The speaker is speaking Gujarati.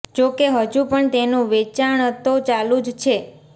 જો કે હજુ પણ તેનું વેચાણતો ચાલુ જ છે